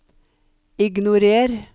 ignorer